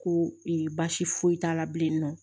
Ko ee baasi foyi t'a la bilen nɔ